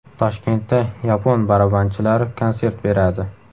Toshkentda yapon barabanchilari konsert beradi.